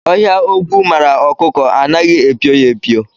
Ọhịa ogwu mara ọkụkọ anaghị epio ya epio